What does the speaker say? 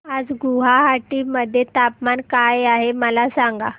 आज गुवाहाटी मध्ये तापमान काय आहे मला सांगा